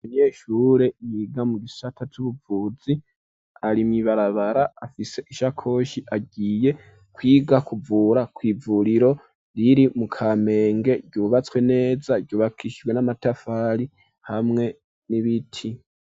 Umunyeshure yiga mu gisata c'ubuvuzi ari mw'ibarabara afise isakoshi agiye kwiga kuvura kw'ivuriro riri mu Kamenge ryubatswe neza ryubakishijwe n'amatafari hamwe n'ibiti.